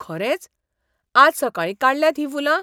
खरेंच? आज सकाळीं काडल्यांत हीं फुलां?